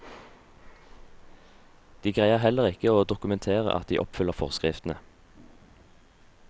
De greier heller ikke å dokumentere at de oppfyller forskriftene.